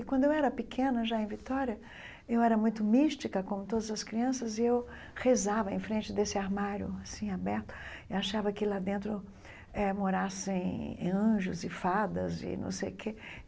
E quando eu era pequena, já em Vitória, eu era muito mística, como todas as crianças, e eu rezava em frente desse armário, assim, aberto, e achava que lá dentro eh morassem anjos e fadas e não sei o quê.